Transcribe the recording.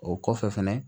O kɔfɛ fɛnɛ